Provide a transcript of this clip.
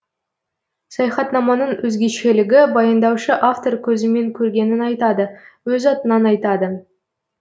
саяхатнаманың өзгешелігі баяндаушы автор көзімен көргенін айтады өз атынан айтады